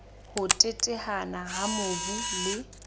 ho teteana ha mobu le